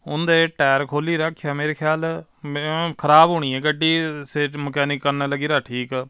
ਉਹਦੇ ਟਾਇਰ ਖੋਲੀ ਰੱਖਿਆ ਮੇਰੇ ਖਿਆਲ ਖਰਾਬ ਹੋਣੀ ਆ ਗੱਡੀ ਸੇਚ ਮਕੈਨਿਕ ਕਰਨ ਲੱਗੀ ਰਾ ਠੀਕ।